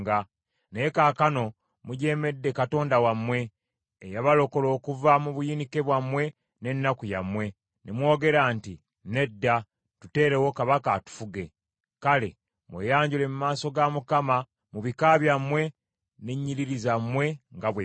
Naye kaakano mujeemedde Katonda wammwe eyabalokola okuva mu buyinike bwammwe n’ennaku yammwe, ne mwogera nti, Nedda, tuteerewo kabaka atufuge.’ Kale mweyanjule mu maaso ga Mukama mu bika byammwe ne nnyiriri zammwe nga bwe biri.”